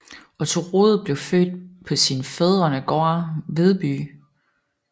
Otte Rud blev født på sin fædrenegård Vedby